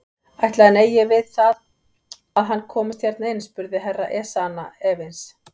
Ætli hann eigi við það að hann komist hérna inn spurði Herra Ezana efins.